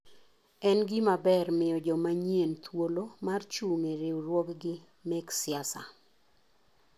En gima ber miyo joma nyien thuolo mar jung e riwruoggi mek siasa.